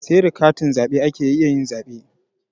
Sai da katin zaɓe ake iya zaɓe.